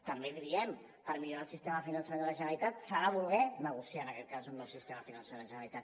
també l’hi diem per millorar el sistema de finançament de la generalitat s’ha de voler negociar en aquest cas un nou sistema de finançament de la generalitat